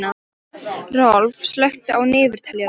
Rolf, slökktu á niðurteljaranum.